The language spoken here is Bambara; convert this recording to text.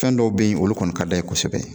Fɛn dɔw be yen olu kɔni ka d'a ye kosɛbɛ